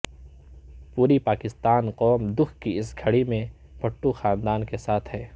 پوری پاکستانی قوم دکھ کی اس گھڑی میں بھٹو خاندان کے ساتھ ہے